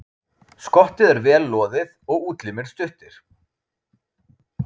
Skottið er vel loðið og útlimir stuttir.